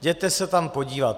Jděte se tam podívat!